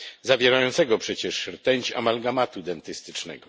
zawierającego przecież rtęć amalgamatu dentystycznego.